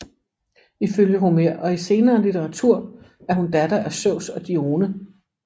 Ifølge Homer og i senere litteratur er hun datter af Zeus og Dione